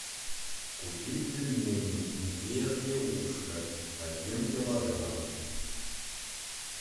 купи пельмени медвежье ушко один килограмм